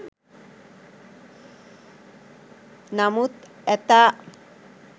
නමුත් ඇතා